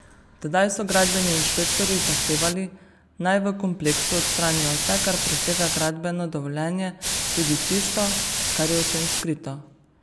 Tedaj so gradbeni inšpektorji zahtevali, naj v kompleksu odstranijo vse, kar presega gradbeno dovoljenje, tudi tisto, kar je očem skrito.